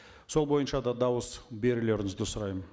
сол бойынша да дауыс берулеріңізді сұраймын